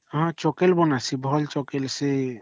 ହଁ ଚାକିଲ ବଣସି ଭଲ ଚାକିଲ